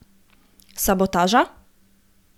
Sabotaža?